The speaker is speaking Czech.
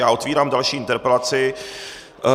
Já otevírám další interpelaci.